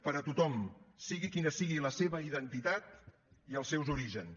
per a tothom sigui quina sigui la seva identitat i els seus orígens